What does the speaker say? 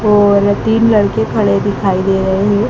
और तीन लड़के खड़े दिखाई दे रहे हैं।